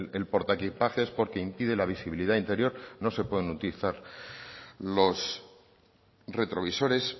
el portaequipajes porque impide la visibilidad interior no se pueden utilizar los retrovisores